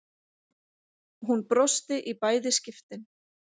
Hún brosti í bæði skiptin.